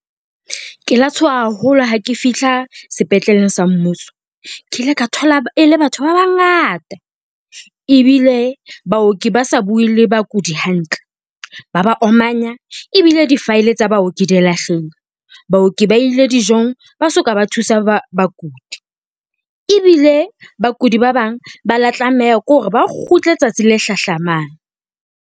Ke la tshoha haholo ha ke fihla sepetleleng sa mmuso. Ke ile ka thola e le batho ba bangata, ebile baoki ba sa bue le bakudi hantle ba ba omanya, ebile di-file tsa baoki di a , baoki ba ile dijong ba soka ba thusa bakudi, ebile bakudi ba bang ba la tlameha ke hore ba kgutle tsatsi le hlahlamang.